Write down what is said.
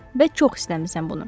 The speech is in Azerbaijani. Və çox istəmisən bunu.